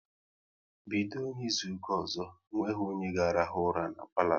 Bido N'izuka ọzọ, onweghi onye ga rahụ ura n'palo